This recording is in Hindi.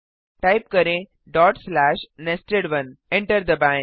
टाइप करें nested1 एंटर दबाएँ